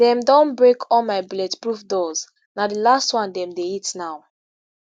dem don break all my bulletproof doors na di last one dem dey hit now.